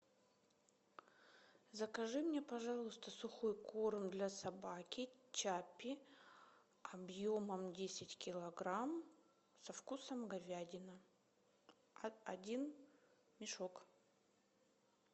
закажи мне пожалуйста сухой корм для собаки чаппи объемом десять килограмм со вкусом говядина один мешок